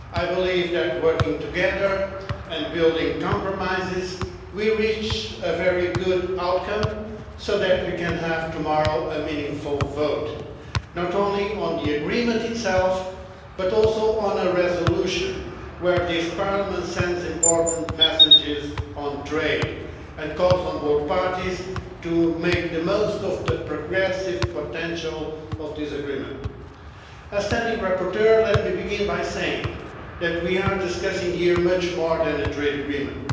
I believe that by working together and building compromises we have reached a very good outcome, so that we can have a meaningful vote tomorrow not only on the agreement itself but also on a resolution in which Parliament sends out important messages about trade, and calls on the parties to make the most of the progressive potential of this agreement. As standing rapporteur, let me begin by saying that we are discussing here much more than a trade agreement.